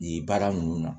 Nin baara ninnu na